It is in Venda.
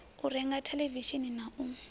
u renga theḽevishini na u